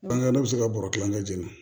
Bange bɛ se ka bɔrɔ kelen kɛ jɛn na